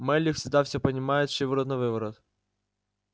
мелли всегда всё понимает шиворот-навыворот